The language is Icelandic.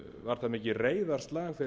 var það mikið reiðarslag